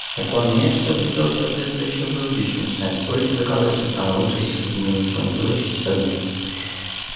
так он нет чтобы сделать соответствующие выводы ещё начинает спорить и доказывать что самый лучший сисадмин ничего не делающий сисадмин